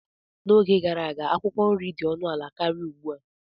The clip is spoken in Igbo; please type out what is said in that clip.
N'oge gara aga, akwụkwọ nri dị ọnụ ala karịa ugbu a.